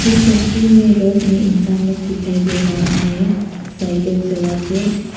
ये तस्वीर में रोड में इंसान लोग दिखाई दे रहा है साइकिल चला के।